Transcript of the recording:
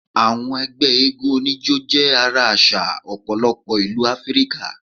Àwọn egbé eégún onijo jé ara àsà òpòlopo ìlú áfríkà